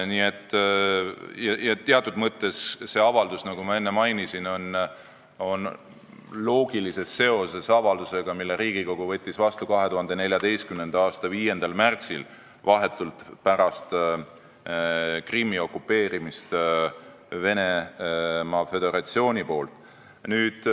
Nii et teatud mõttes see avaldus, nagu ma enne mainisin, on loogilises seoses avaldusega, mille Riigikogu võttis vastu 2014. aasta 5. märtsil, vahetult pärast Krimmi okupeerimist Venemaa Föderatsiooni poolt.